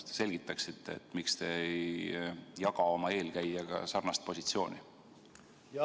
Kas te selgitaksite, miks te ei jaga oma eelkäijaga sarnast positsiooni?